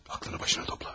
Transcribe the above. Ağlını başına topla.